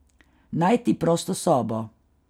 Najti prosto sobo.